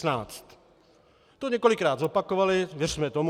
To několikrát zopakovali, věřme tomu.